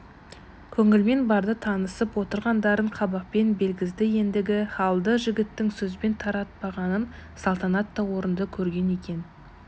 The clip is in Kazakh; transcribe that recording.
көңілмен барды танысып отырғандарын қабақпен білгізді ендігі халді жігіттің сөзбен таратпағанын салтанат та орынды көрген екен